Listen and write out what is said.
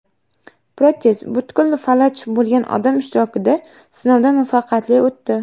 Protez butkul falaj bo‘lgan odam ishtirokida sinovdan muvaffaqiyatli o‘tdi.